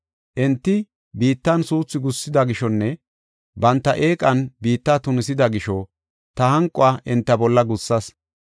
Enti biittan suuthu gussida gishonne banta eeqan biitta tunisida gisho ta hanquwa enta bolla gussas.